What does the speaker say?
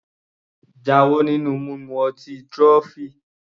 Jáwọ́ nínú mímu ọtí trophy!